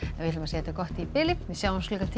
þetta gott í bili sjáumst klukkan tíu